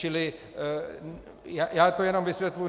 Čili já to jenom vysvětluju.